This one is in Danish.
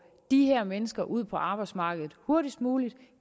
de her mennesker ud på arbejdsmarkedet hurtigst muligt at